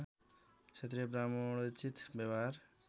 क्षत्रिय ब्राह्मणोचित व्यवहार